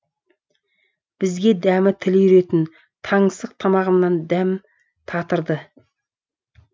бізге дәмі тіл үйіретін таңсық тамағынан дәм татырды